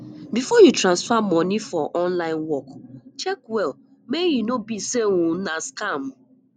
before you transfer money for online work check well make e no be sey um na scam